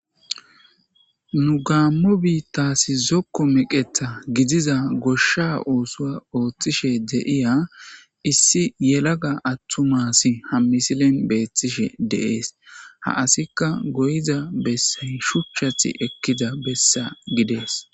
Nu gaammu biittasi zokko meqetha gidiza goshsha oosua ooththishe deiya issi yelaga attumasi hammisilen beethtishe deees ha asikka goyza bessa shuchchathi ekkida bessa gidees.